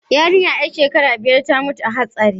Yarinyar yar shekara biyar ta mutu a hatsarin